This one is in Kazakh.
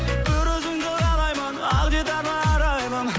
бір өзіңді қалаймын ақ дидарлы арайлым